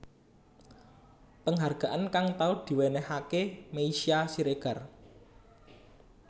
Penghargaan kang tau diwénéhaké Meisya Siregar